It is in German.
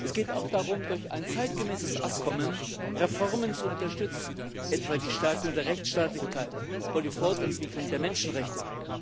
Es geht auch darum, durch ein zeitgemäßes Abkommen Reformen zu unterstützen, etwa die Stärkung der Rechtsstaatlichkeit und die Fortentwicklung der Menschenrechte.